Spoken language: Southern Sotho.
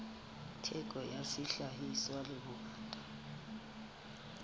theko ya sehlahiswa le bongata